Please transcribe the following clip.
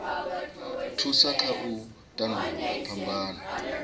thusa kha u tandulula phambano